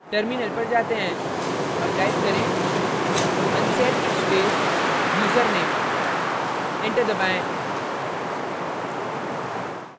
terminal पर जाते हैं अब type करें unset space username enter दबाएं